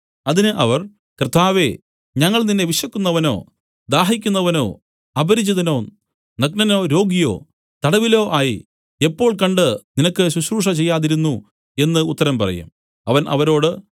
അതിന് അവർ കർത്താവേ ഞങ്ങൾ നിന്നെ വിശക്കുന്നവനോ ദാഹിക്കുന്നവനോ അപരിചിതനോ നഗ്നനോ രോഗിയോ തടവിലോ ആയി എപ്പോൾ കണ്ട് നിനക്ക് ശുശ്രൂഷ ചെയ്യാതിരുന്നു എന്നു ഉത്തരം പറയും അവൻ അവരോട്